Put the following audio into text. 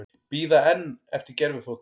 Bíða enn eftir gervifótum